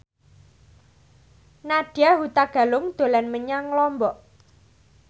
Nadya Hutagalung dolan menyang Lombok